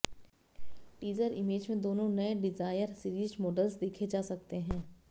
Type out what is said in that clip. teaser image में दोनों नए डिज़ायर सीरीज मॉडल्स देखे जा सकते हैं